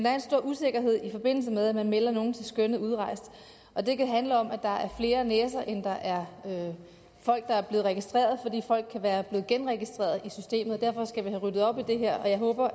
er en stor usikkerhed i forbindelse med at man melder nogen skønnet udrejst og det kan handle om at der er flere næser end der er folk der er blevet registreret fordi folk kan være blevet genregistreret i systemet derfor skal vi have ryddet op i det her og jeg håber